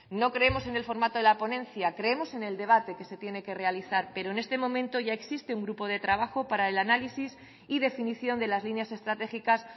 no creemos en el formato de la ponencia creemos en el debate que se tiene que realizar pero en este momento ya existe un grupo de trabajo para el análisis y definición de las líneas estratégicas